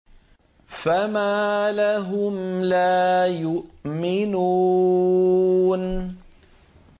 فَمَا لَهُمْ لَا يُؤْمِنُونَ